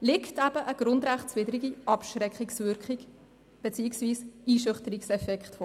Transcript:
liegt eine grundrechtswidrige Abschreckungswirkung beziehungsweise ein Einschüchterungseffekt vor.